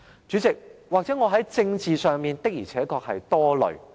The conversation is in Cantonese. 主席，也許我在政治上，的而且確是多慮的。